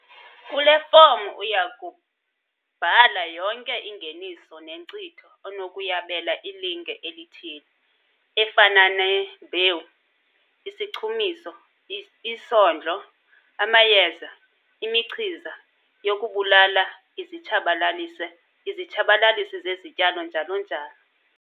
Kule fomu uya kubhala yonke ingeniso nenkcitho onokuyabela ilinge elithile - efana nembewu, isichumiso, isondlo, amayeza, imichiza yokubulala izitshabalalisi zezityalo njalo njalo.